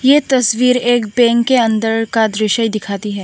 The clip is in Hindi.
ये तस्वीर एक बैंक के अंदर का दृश्य दिखाती है।